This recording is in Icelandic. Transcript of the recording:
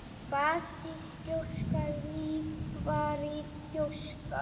basísk gjóska líparít gjóska